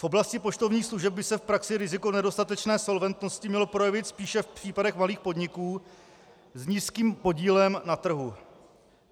V oblasti poštovních služeb by se v praxi riziko nedostatečné solventnosti mělo projevit spíše v případech malých podniků s nízkým podílem na trhu.